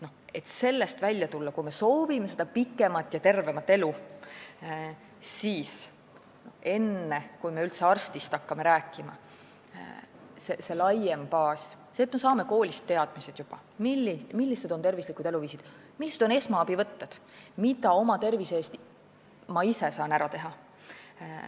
Et sellest välja tulla ja kui me soovime pikemat ja tervemat elu, siis enne, kui me üldse arstist hakkame rääkima, tuleb vaadata laiemat baasi: seda, et me saame juba koolist teadmised, millised on tervislikud eluviisid, millised on esmaabivõtted ja mida saab ise oma tervise heaks ära teha.